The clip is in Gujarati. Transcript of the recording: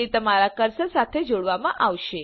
તે તમારા કર્સર સાથે જોડવામાં આવશે